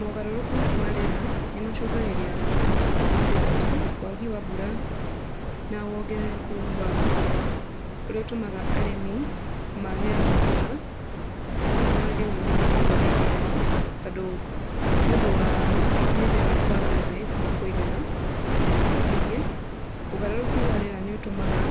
Mogarũrũku ma rĩera nĩmacũngagĩrĩria mathĩna ta wagi wa mbura na wongerereku wa ũkĩa, ũrĩa ũtũmaga arĩmi mage magetha kana mage umithio mĩgũnda-inĩ yao, tondũ nĩũndũ wa mĩmera kwaga maĩ ma kũigana. Ningĩ ũgarũrũku wa rĩera nĩũtũmaga